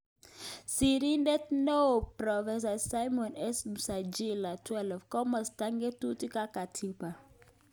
Sirindeet neoo Prof Simon S.Msanjila 12 Komostap ng'atutil ak Katibq